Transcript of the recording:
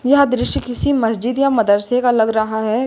यह दृश्य किसी मस्जिद या मदरसे का लग रहा है।